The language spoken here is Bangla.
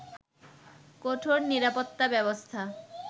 কঠোর নিরাপত্তা ব্যবস্থা